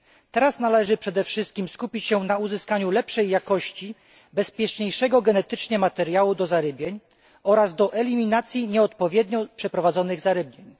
Teraz należy przede wszystkim skupić się na uzyskaniu lepszej jakości bezpieczniejszego genetycznie materiału do zarybień oraz do eliminacji nieodpowiednio przeprowadzonych zarybień.